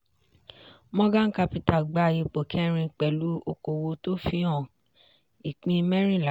morgan capital gba ipò kẹ́rin pẹ̀lú okòwò tó fi hàn ìpín mẹ́rinlá.